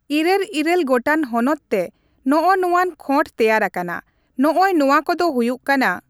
ᱤᱨᱟᱹᱞ ᱤᱨᱟᱹᱞ ᱜᱚᱴᱟᱝ ᱦᱚᱱᱚᱛ ᱛᱮ ᱱᱚᱜ ᱚᱭᱟᱱ ᱠᱷᱚᱸᱰ ᱛᱮᱭᱟᱨ ᱟᱠᱟᱱᱟ᱾ ᱱᱚᱜ ᱚᱭ ᱱᱚᱣᱟ ᱠᱚ ᱫᱚ ᱦᱩᱭᱩᱜ ᱠᱟᱱᱟᱺ